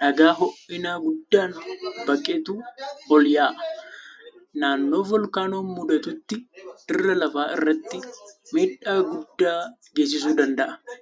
dhagaa hoo'ina guddaan baqetu ol yaa'aa. Naannoo voolkaanoon muudatutti dirra lafaa irratti miidhaa guddaa geessisuu danda'a.